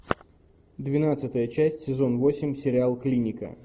двенадцатая часть сезон восемь сериал клиника